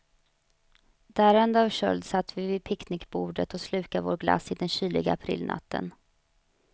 Darrande av köld satt vi vid picknickbordet och slukade vår glass i den kyliga aprilnatten.